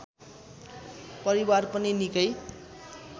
परिवार पनि निकै